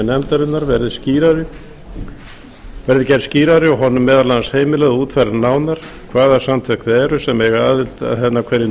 nefndarinnar verði gerð skýrari og honum meðal annars heimilað að útfæra nánar hvaða samtök það eru sem eigi aðild að henni á hverjum